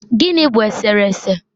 gịnị bụ eserese?